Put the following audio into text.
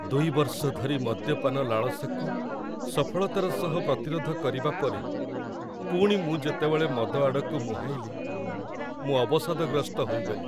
୨ ବର୍ଷ ଧରି ମଦ୍ୟପାନ ଲାଳସାକୁ ସଫଳତାର ସହ ପ୍ରତିରୋଧ କରିବା ପରେ, ପୁଣି ମୁଁ ଯେତେବେଳେ ମଦ ଆଡ଼କୁ ମୁହାଁଇଲି, ମୁଁ ଅବସାଦଗ୍ରସ୍ତ ହୋଇଗଲି।